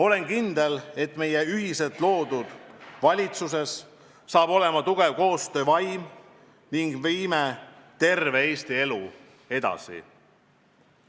Olen kindel, et meie ühiselt loodud valitsuses saab olema tugev koostöövaim ning viime terve Eesti elu edasi.